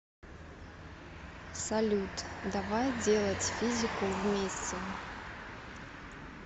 салют давай делать физику вместе